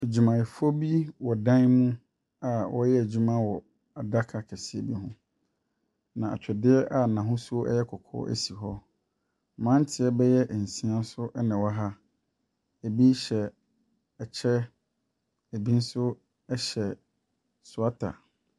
Adwumayɛfoɔ bi wɔ dan mu a wɔreyɛ adwuma wɔ adaka kɛseɛ bi ho, na atwedeɛ a n'ahosuo yɛ kɔkɔɔ si hɔ. Mmranteɛ bɛyɛ nsia na ɛwɔ ha na ebi hyɛ ɛkyɛ na ebi nso hyɛ soata.